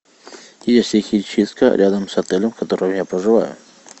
есть ли химчистка рядом с отелем в котором я проживаю